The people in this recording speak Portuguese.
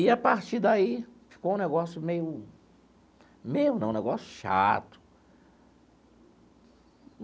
E, a partir daí, ficou um negócio meio meio não, um negócio chato.